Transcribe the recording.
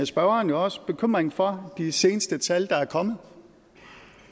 spørgeren jo også bekymringen for de seneste tal der er kommet